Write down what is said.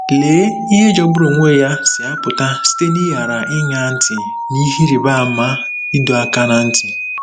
Lee ihe jọgburu onwe ya si apụta site n'ịghara ịṅa ntị n'ihe ịrịba ama ịdọ aka ná ntị!